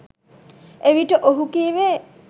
එවිට ඔහු කීවේ